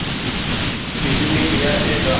किसने किया ऐसा